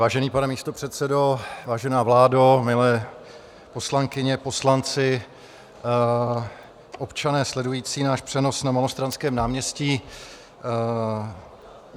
Vážený pane místopředsedo, vážená vládo, milé poslankyně, poslanci, občané sledující náš přenos na Malostranském náměstí.